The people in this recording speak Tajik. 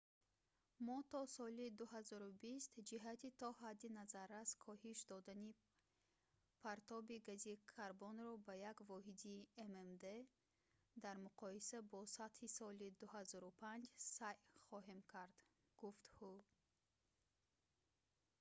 мо то соли 2020 ҷиҳати то ҳадди назаррас коҳиш додани партоби гази карбонро ба як воҳиди ммд дар муқоиса бо сатҳи соли 2005 сайъ хоҳем кард гуфт ҳу